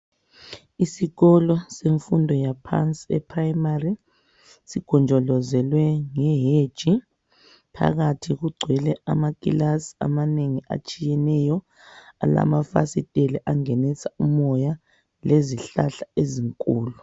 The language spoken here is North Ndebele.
Isikolo semfundo yaphansi eprimary sigonjolozelwe ngeheji, phakathi kugcwele amakilasi amanengi atshiyeneyo alamafasitela angenisa umoya lezihlahla ezinkulu.